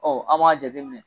an m'a jateminɛ